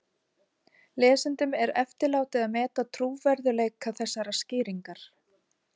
Lesendum er eftirlátið að meta trúverðugleika þessarar skýringar.